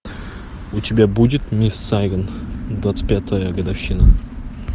у тебя будет мисс сайгон двадцать пятая годовщина